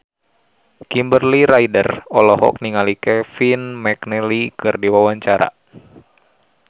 Kimberly Ryder olohok ningali Kevin McNally keur diwawancara